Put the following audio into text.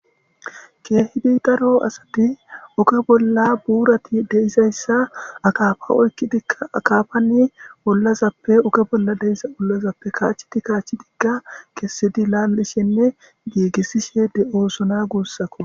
Keehidi daro asati oke bolla buurati deizayssa akafa oykki dika akafani ollazappe oke bolla deisa ollazappe kaachi ti kaachi digga kessidi laallishenne giigissishe de'oosona guussako.